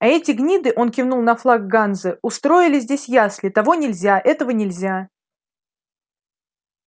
а эти гниды он кивнул на флаг ганзы устроили здесь ясли того нельзя этого нельзя